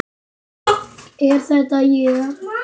Er þetta ég?